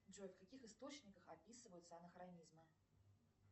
джой в каких источниках описываются анахронизмы